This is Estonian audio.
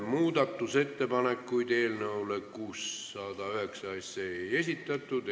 Muudatusettepanekuid eelnõu 609 kohta ei esitatud.